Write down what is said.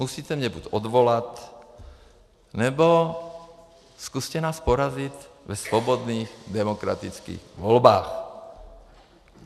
Musíte mě buď odvolat, nebo zkuste nás porazit ve svobodných demokratických volbách.